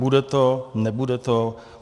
Bude to, nebude to?